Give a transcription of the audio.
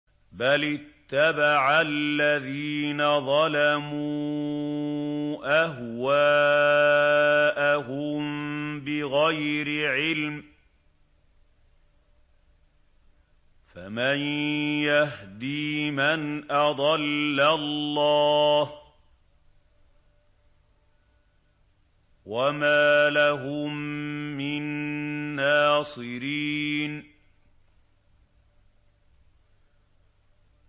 بَلِ اتَّبَعَ الَّذِينَ ظَلَمُوا أَهْوَاءَهُم بِغَيْرِ عِلْمٍ ۖ فَمَن يَهْدِي مَنْ أَضَلَّ اللَّهُ ۖ وَمَا لَهُم مِّن نَّاصِرِينَ